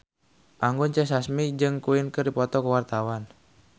Anggun C. Sasmi jeung Queen keur dipoto ku wartawan